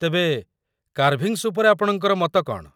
ତେବେ, କାର୍ଭିଙ୍ଗ୍‌ସ୍‌ ଉପରେ ଆପଣଙ୍କର ମତ କ'ଣ?